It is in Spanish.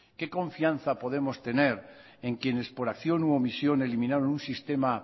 qué confianza podemos tener en quienes por acción u omisión eliminaron un sistema